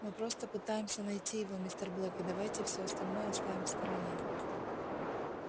мы просто пытаемся найти его мистер блэк и давайте всё остальное оставим в стороне